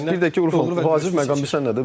Bir də ki, ufaq vacib məqam bilirsən nədir?